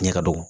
Ɲɛ ka dɔgɔ